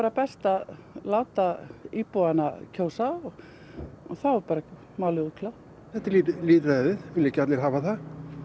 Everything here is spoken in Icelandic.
best að láta íbúana kjósa og þá er málið útkljátt þetta er lýðræði vilja ekki allir hafa það